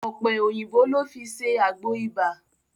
Ọ̀pẹ̀ òyìnbò ló fi ṣe àgbo ibà.